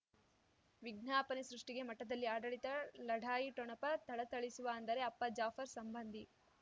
ವಿಜ್ಞಾಪನೆ ಸೃಷ್ಟಿಗೆ ಮಠದಲ್ಲಿ ಆಡಳಿತ ಲಢಾಯಿ ಠೊಣಪ ಥಳಥಳಿಸುವ ಅಂದರೆ ಅಪ್ಪ ಜಾಫರ್ ಸಂಬಂಧಿ